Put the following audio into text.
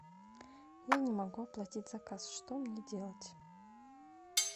я не могу оплатить заказ что мне делать